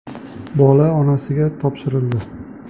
Bola onasiga topshirildi.